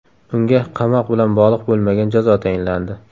Unga qamoq bilan bog‘liq bo‘lmagan jazo tayinlandi.